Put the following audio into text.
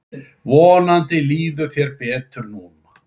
Vonandi líður þér betur núna.